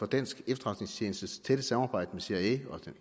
danske efterretningstjenestes tætte samarbejde med cia og